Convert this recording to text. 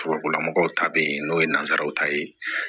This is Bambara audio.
Tubabula mɔgɔw ta bɛ yen n'o ye nansaraw ta ye